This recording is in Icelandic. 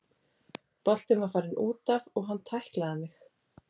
Boltinn var farinn útaf og hann tæklaði mig.